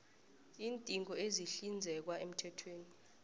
iindingo ezihlinzekwa emthethweni